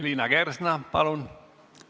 Liina Kersna, palun!